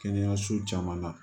Kɛnɛyaso caman na